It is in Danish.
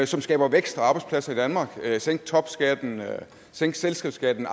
som skaber vækst og arbejdspladser i danmark sænke topskatten sænke selskabsskatten